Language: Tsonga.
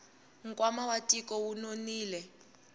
nkwama wa tiko wu nonile